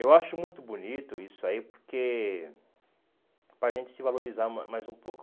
Eu acho muito bonito isso aí, porque... Porque para gente se valorizar ma mais um pouco.